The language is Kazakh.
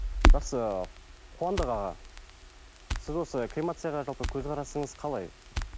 жақсы қуандық аға сіз осы кремацияға жалпы көзқарасыңыз қалай